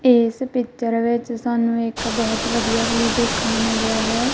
ਇਸ ਪਿਚਰ ਵਿੱਚ ਸਾਨੂੰ ਇੱਕ ਬਹੁਤ ਵਧੀਆ ਵਿਊ ਦੇਖਣ ਨੂੰ ਮਿਲ ਰਿਹਾ ਹੈ।